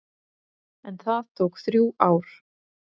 En það tók þrjú ár.